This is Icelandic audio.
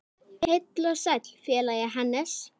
Heill og sæll félagi Hannes!